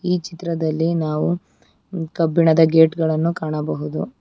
ಈ ಚಿತ್ರದಲ್ಲಿ ನಾವು ಕಬ್ಬಿಣದ ಗೇಟ್ ಗಳನ್ನು ಕಾಣಬಹುದು.